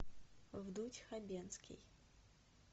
вдуть хабенский